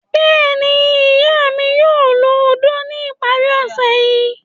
Bẹ́ẹ̀ni, iya mi yoo lo ódó ni ipari ose yii